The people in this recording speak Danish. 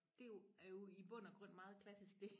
Det jo er jo i bund og grund meget klassisk dét